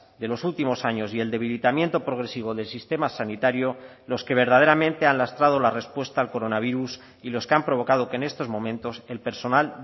de los últimos años y el debilitamiento progresivo del sistema sanitario los que verdaderamente han lastrado la respuesta al coronavirus y los que han provocado que en estos momentos el personal